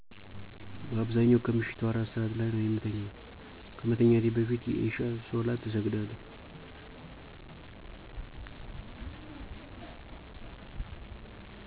በአብዛኛው ከምሸቱ 4 ሰዐት ላይ ነው የምተኛው። ከመተኛቴ በፊት የኢሻ ሶላት እሰግዳለሁ።